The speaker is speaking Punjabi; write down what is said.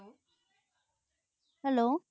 hello